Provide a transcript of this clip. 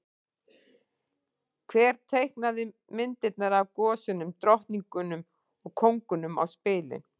Hver teiknaði myndirnar af gosunum, drottningunum og kóngunum á spilin?